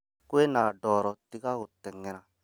Kwĩna ndoro tiga gũteng̛era